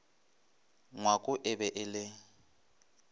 ngwako e be e le